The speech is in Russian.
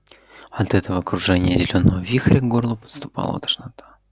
от этого кружения зелёного вихря к горлу подступала тошнота